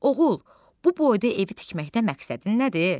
Oğul, bu boyda evi tikməkdə məqsədin nədir?